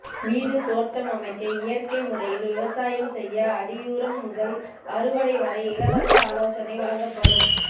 வீடு தோட்டம் அமைக்க இயற்கை முறையில் விவசாயம் செய்ய அடியுரம் முதல் அறுவடை வரை இலவச ஆலோசனை வழங்கப்படும்